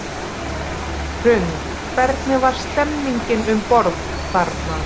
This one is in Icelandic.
Hrund: Hvernig var stemmningin um borð þarna?